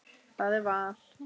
Það er val.